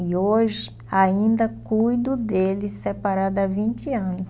E hoje ainda cuido dele separado há vinte anos.